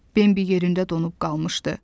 Bembi yerində donub qalmışdı.